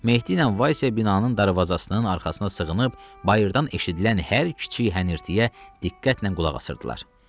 Mehdi ilə Vaysya binanın darvazasının arxasına sığınıb, bayırdan eşidilən hər kiçik hənirtiyə diqqətlə qulaq asırdılar.